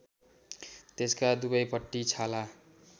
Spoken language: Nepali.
त्यसका दुवैपट्टि छाला